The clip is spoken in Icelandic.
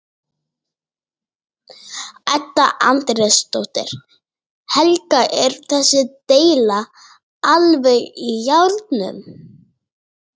Edda Andrésdóttir: Helga er þessi deila alveg í járnum?